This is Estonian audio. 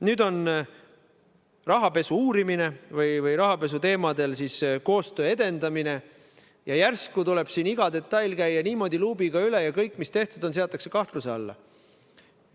Nüüd on käsil rahapesu uurimine või rahapesuteemadel koostöö edendamine, ja järsku tuleb iga detail käia luubiga üle ja kõik, mis tehtud on, võetakse vaatluse alla.